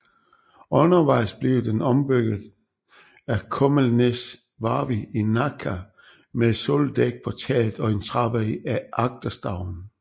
Undervejs blev den ombygget af Kummelnäs Varvi i Nacka med et soldæk på taget og en trappe i agterstavnen